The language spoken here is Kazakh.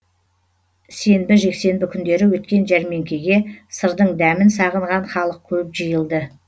сенбі жексенбі күндері өткен жәрмеңкеге сырдың дәмін сағынған халық көп жиылды